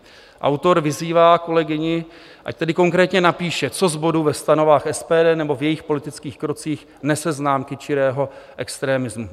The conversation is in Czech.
Autor vyzývá kolegyni, ať tedy konkrétně napíše, co z bodů ve stanovách SPD nebo v jejích politických krocích nese známky čirého extrémismu.